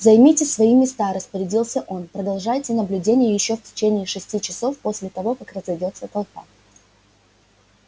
займите свои места распорядился он продолжайте наблюдение ещё в течение шести часов после того как разойдётся толпа